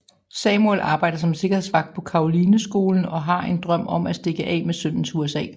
Samuel arbejder som sikkerhedsvagt på Carolineskolen og har en drøm om at stikke af med sønnen til USA